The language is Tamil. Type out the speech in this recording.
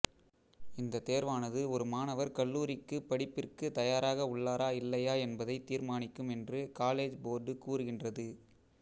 இந்த தேர்வானது ஒரு மாணவர் கல்லூரிக்கு படிப்பிற்கு தயாராக உள்ளாரா இல்லையா என்பதைத் தீர்மானிக்கும் என்று காலேஜ் போர்டு கூறுகின்றது